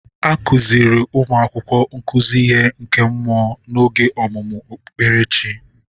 A kuziri ụmụ akwụkwọ nkuzi ihe nke mmụọ n'oge ọmụmụ okpukperechi.